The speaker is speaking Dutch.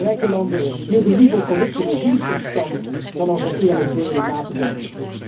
De rijke landen hielden liever corrupte regimes in stand dan over eerlijk delen na te denken.